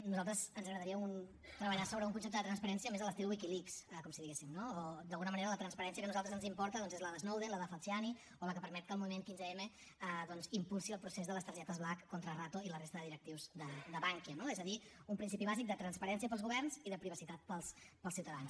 a nosaltres ens agradaria treballar sobre un concepte de transparència més a l’estil wikileaks com si diguéssim no o d’alguna manera la transparència que a nosaltres ens importa és la de snowden la de falciani o la que permet que el moviment quinze m impulsi el procés de les targetes black contra rato i la resta de directius de bankia no és a dir un principi bàsic de transparència per als governs i de privacitat per als ciutadans